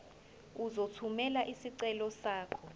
uzothumela isicelo sakho